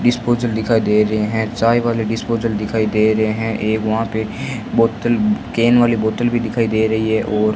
disposal दिखाई दे रहे हैं चाय वाले डिस्पोजल दिखाई दे रहे हैं एक वहां पे बोतल केन वाली बोतल भी दिखाई दे रही है और --